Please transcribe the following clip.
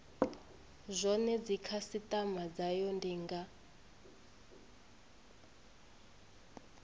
zwone dzikhasitama dzayo ndi nga